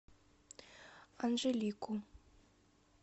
анжелику